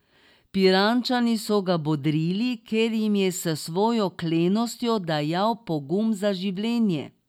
Pirančani so ga bodrili, ker jim je s svojo klenostjo dajal pogum za življenje.